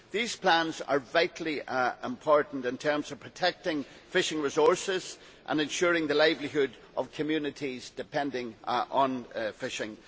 These plans are vitally important in terms of protecting fishing resources and ensuring the livelihoods of communities depending on fishing.